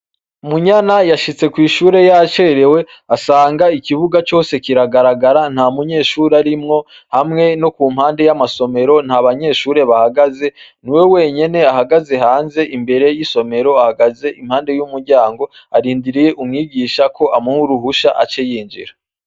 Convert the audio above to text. Munyana yashitse kw'ishure yacerewe, asanga ikibuga cose kiragaragara nta munyeshuri arimwo, hamwe no ku mpande y'amasomero nta banyeshure bahagaze, niwe wenyene ahagaze hanze imbere y'isomero ahagaze impande y'umuryango arindiriye umwigisha ko amuhuruhusha aceyinjira.